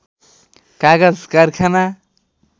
कागज कारखाना